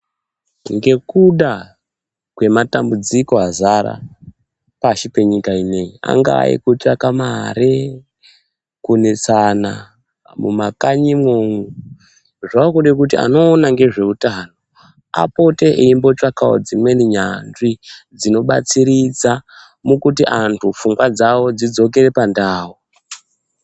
Ngekuda kwematambudziko azara pashi penyika ineyi, angaa ekutsvaka mare kunesana mamakanyimwo. Zvakuda kuti anoona ngezveutano apote eimbotsvakawo dzimweni nyanzvi dzinobatsiridza mukuti anthu pfungwa dzawo dzidzokere pandau.